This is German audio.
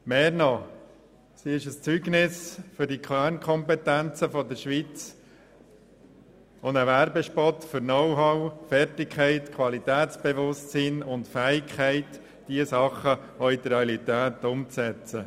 Mehr noch: Sie sind ein Zeugnis für die Kernkompetenzen der Schweiz, ein Werbespot für Know-how, Fertigkeit, Qualitätsbewusstsein und die Fähigkeit, diese Dinge auch in die Realität umzusetzen.